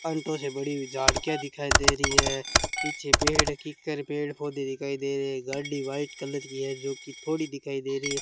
Onto से बड़ी झाड़किया दिखाई दे रही है पीछे पेड़ कीकर पेड़ पौधे दिखाई दे रहे गाड़ी व्हाइट कलर की है जोकि थोड़ी दिखाई दे रही है।